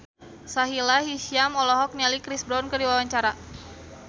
Sahila Hisyam olohok ningali Chris Brown keur diwawancara